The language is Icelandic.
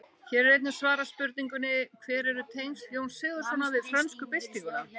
Hér er einnig svarað spurningunni: Hver eru tengsl Jóns Sigurðssonar við frönsku byltinguna?